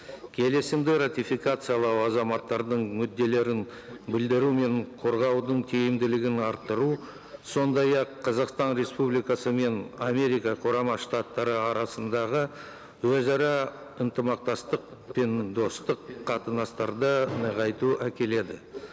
келісімді ратификациялау азаматтардың мүдделерін білдіру мен қорғаудың тиімділігін арттыру сондай ақ қазақстан республикасы мен америка құрама штаттары арасындағы өзара ынтымақтастық пен достық қатынастарды нығайту әкеледі